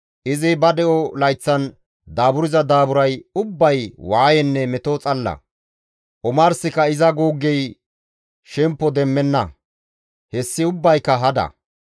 Izi ba de7o layththan daaburza daaburay ubbay waayenne meto xalla; omarsika iza guuggey shempo demmenna; hessi ubbayka hada.